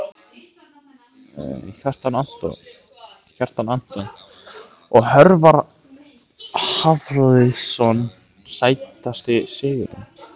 Kjartan Antons og Hjörvar Hafliðason Sætasti sigurinn?